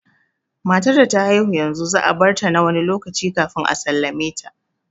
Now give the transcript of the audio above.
Matar da ta haihu yanzu za a barta na wani lokaci kafin a sallame ta